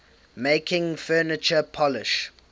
making furniture polish